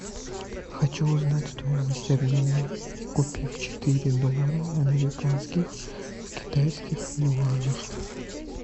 хочу узнать стоимость обмена купив четыре доллара американских в китайских юанях